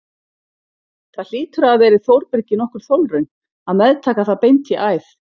Það hlýtur að hafa verið Þórbergi nokkur þolraun að meðtaka það beint í æð.